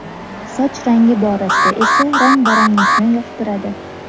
Soch rangi borasida esa rang-baranglikni yoqtiradi.